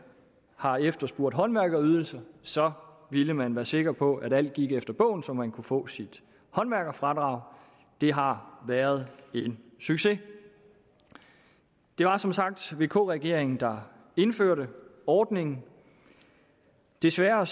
har efterspurgt håndværkerydelser så ville man være sikker på at alt gik efter bogen så man kunne få sit håndværkerfradrag det har været en succes det var som sagt vk regeringen der indførte ordningen desværre